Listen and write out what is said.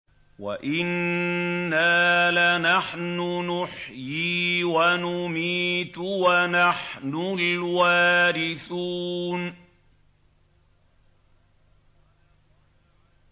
وَإِنَّا لَنَحْنُ نُحْيِي وَنُمِيتُ وَنَحْنُ الْوَارِثُونَ